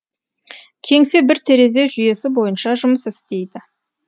кеңсе бір терезе жүйесі бойынша жұмыс істейді